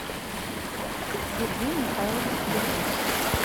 сергей михайлович кульбуш